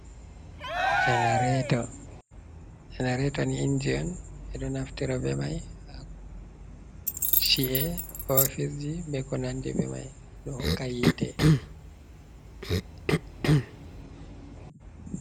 Janareto: Janarato ni inji on ɓeɗo naftira be mai ha chi’e, hofisji be konandi be mai ɗo hokka yite